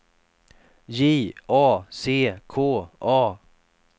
J A C K A